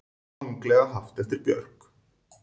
Ranglega haft eftir Björk